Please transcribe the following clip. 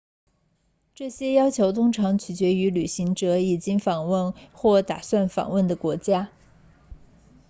这些要求通常取决于旅行者已经访问或打算访问的国家